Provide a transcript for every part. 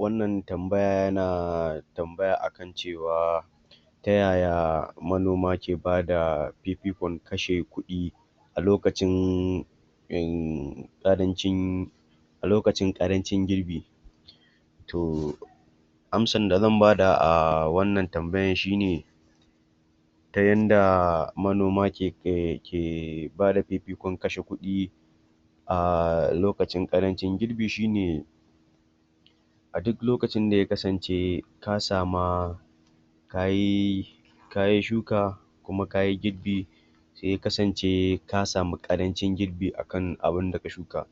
Wannan tambaya yana tambaya akan cewa ta yaya manoma ke bada fifikon kashe kuɗi a lokacin innn... ƙarancin a lokacin ƙarancin girbi? Toh, amsar da zan bada a wannan tambayar shine ta yanda manoma ke bada fifikon kashe kuɗi a lokacin ƙarancin girbi shine a duk lokacin da ya kasance ka sama kayi shuka kuma kayi girbi, sai ya kasance ka sami ƙarancin giorbi akan abunda ka shuka,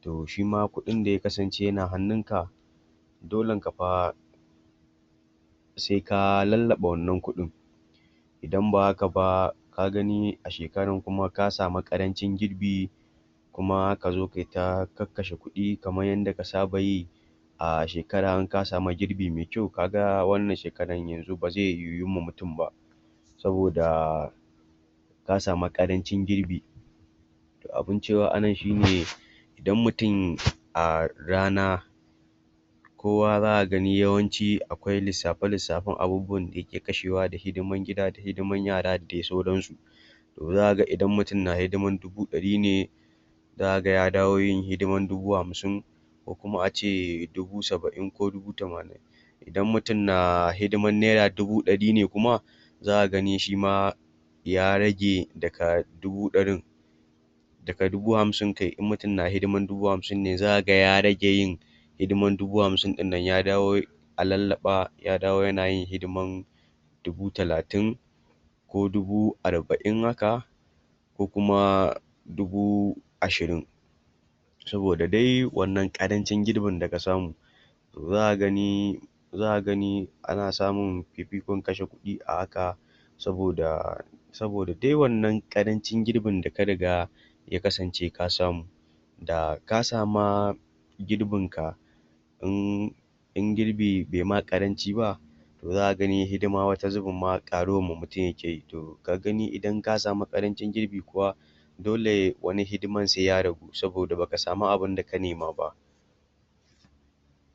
to shima kuɗin da ya kasance yana hannunka, dolenka fa sai ka lallaɓa wannan kuɗin idan ba haka ba, ka gani a shekaran kuma ka sami ƙarancin girbi, kuma ka zo kai ta kashkashe kuɗi kamar yadda ka saba yi a shekara in sami girbi mai kyau kaga, wannnan shekaran yanzu ba zai yuwunma mutum ba saboda ka samu ƙarancin girbi, Abun cewa anan shine, idan mutum a rana kowa za ka gani akwai lissafe-lissafen abubuwan da yake kashewa da da hidiman gida da hidiman yara da sauransu, to za ka ga idan mutum na hidimar dubu ɗari ne, za ka ga ya dawo yin hidiman dubu hamsin ko kuma ace dubu saba'in ko dubu tamanin. Idan mutum na hidiman naira dubu ɗari ne kuma zaka gani shima ya rage daga dubu ɗarin daha dubu hamsin kai, in mutum na hidiman dubu hamsin ne za ka ga ya rage yin hidiman dubu hamsin ɗinnan ya dawo a lallaɓa ya dawo yana yin hidiman dubu talatin, ko dubu arba'in haka, ko kuma dubu ashirin. saboda da dai wannan ƙarancin girbin da ka samu to za ka gani za ka gani ana samun fifinkon kashe a haka saboda saboda dai wannan ƙarancin girbin da ka riga ya kasance ka samu, da ka sama girbinka inn in girbi bai ma ƙaranci ba, to zaka gani wani zubin ma hidima ƙarunma mutum yake to ka gani idan ka sami ƙarancin girbi kuwa dole wani hidiman sai ya ragu saboda baka sami abinda ka nema ba.